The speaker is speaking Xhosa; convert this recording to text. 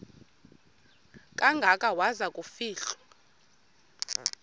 kangaka waza kufihlwa